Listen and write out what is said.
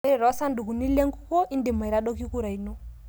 Ore toorsandukuni lenkukuo, indim aitadoki kura ino.